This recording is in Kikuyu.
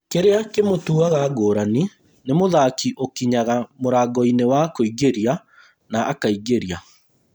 Kĩrĩa kĩmũtuaga ngũrani nĩ mũthaki ũkinyaga mũrango inĩ wa kũingĩria na akingĩria